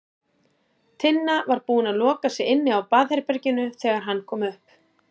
Tinna var búin að loka sig inni á baðherberginu þegar hann kom upp.